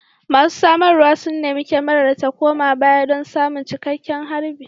Masu samarwa sun nemi kyamarar ta koma baya don samun cikakken harbi